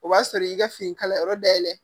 O b'a sɔrɔ i y'i ka fini kala yɔrɔ dayɛlɛ